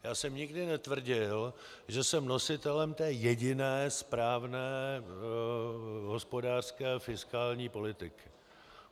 Já jsem nikdy netvrdil, že jsem nositelem té jediné správné hospodářské fiskální politiky.